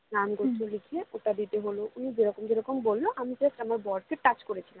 নাম গোত্র লিখে ওটা দিতে হলো উনি যেরকম যেরকম বললো আমি just আমার বরকে touch করেছিলাম